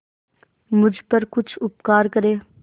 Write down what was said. मुझ पर कुछ उपकार करें